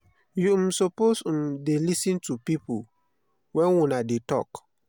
you um suppose um dey lis ten to pipo wen una dey tok.